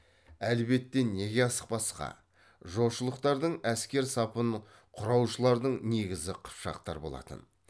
әлбетте неге асықпасқа жошылықтардың әскер сапын құраушылардың негізі қыпшақтар болатын